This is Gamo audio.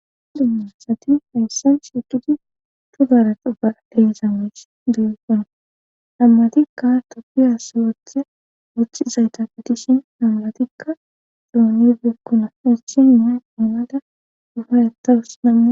Dummasati hayssan shutudi tugaara xu baa deyzamech biqonna hammatikka toppiya si woththe wochizayta fitishin namamatikka doonibeekkona erchin mimay ounada dufay attawus nama